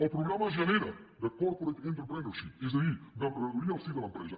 el programa genera de corporate entrepreneurship és a dir d’emprenedoria al si de l’empresa